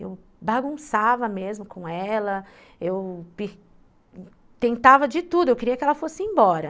Eu bagunçava mesmo com ela, eu tentava de tudo, eu queria que ela fosse embora.